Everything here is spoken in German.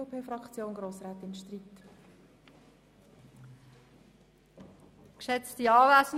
Die übrigen Planungserklärungen lehnen wir ab.